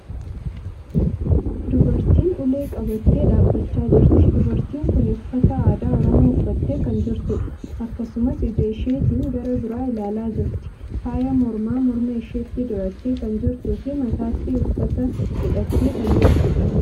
Dubartiin ulee qabattee dhaabbachaa jirti. Dubartiin kuni uffata aadaa Oromoo uffattee kan jirtuudha. Akkasumas, ija isheetin gara biraa ilaalaa jirti. Faaya mormaa, morma isheetti dirattee kan jirtuu fi matatti uffata hidhattee kan jirtuudha.